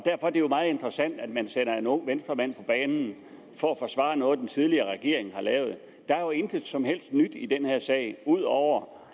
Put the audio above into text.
er jo meget interessant at man sætter en ung venstremand på banen for at forsvare noget den tidligere regering har lavet der er jo intet som helst nyt i den her sag ud over